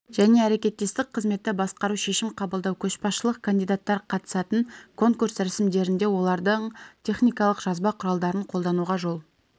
және әрекеттестік қызметті басқару шешім қабылдау көшбасшылық кандидаттар қатысатын конкурс рәсімдерінде олардың техникалық жазба құралдарын қолдануға жол